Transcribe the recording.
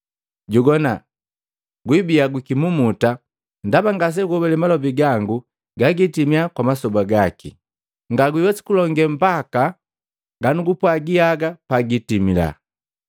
Jogwana, gwibiya gwikimumuta ndaba ngaseguhobale malobi gangu ne gagitimia kwa masoba gaki. Ngawiwesi kulonge mbaka ganugupwagi haga pagipitila.”